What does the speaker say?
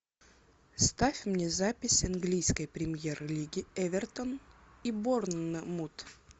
ставь мне запись английской премьер лиги эвертон и борнмут